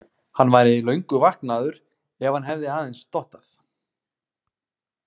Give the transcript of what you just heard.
Hann væri löngu vaknaður ef hann hefði aðeins dottað.